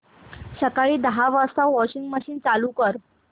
सकाळी दहा वाजता वॉशिंग मशीन चालू कर